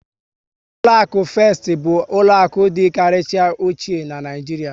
Ụlọakụ Fest bụ ụlọaku dị karịchara ochie n'Naijiria